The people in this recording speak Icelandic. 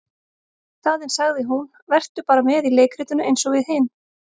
Í staðinn sagði hún:- Vertu bara með í leikritinu eins og við hin.